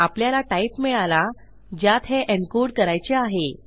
आपल्याला टाइप मिळाला ज्यात हे encodeकरायचे आहे